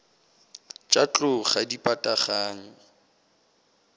tša tlou ga di pataganywe